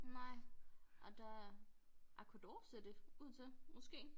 Nej og der er Aqua d'Or ser ud til måske